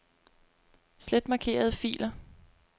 Slet markerede filer.